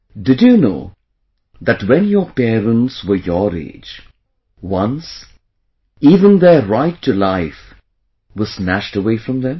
Did you know that when your parents were your age, once even their right to life was snatched away from them